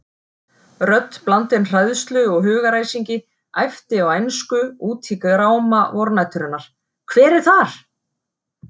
Rödd blandin hræðslu og hugaræsingi æpti á ensku út í gráma vornæturinnar: Hver er þar?!